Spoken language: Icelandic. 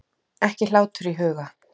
Ekki hlátur í huga.